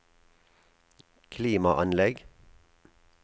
klimaanlegg